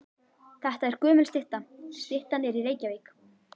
Þetta er gömul stytta. Styttan er í Reykjavík.